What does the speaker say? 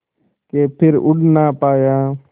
के फिर उड़ ना पाया